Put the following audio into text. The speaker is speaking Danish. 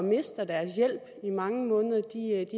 mister deres hjælp i mange måneder